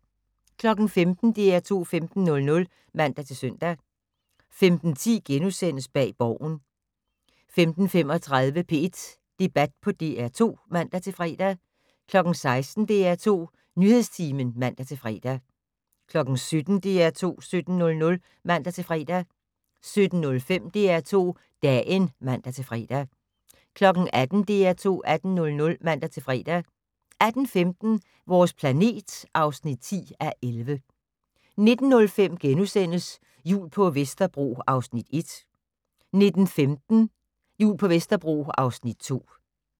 15:00: DR2 15:00 (man-søn) 15:10: Bag Borgen * 15:35: P1 Debat på DR2 (man-fre) 16:00: DR2 Nyhedstimen (man-fre) 17:00: DR2 17:00 (man-fre) 17:05: DR2 Dagen (man-fre) 18:00: DR2 18:00 (man-fre) 18:15: Vores planet (10:11) 19:05: Jul på Vesterbro (Afs. 1)* 19:15: Jul på Vesterbro (Afs. 2)